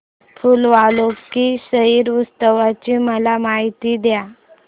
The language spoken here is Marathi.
फूल वालों की सैर उत्सवाची मला माहिती दे